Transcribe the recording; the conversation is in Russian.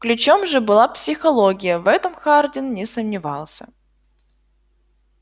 ключом же была психология в этом хардин не сомневался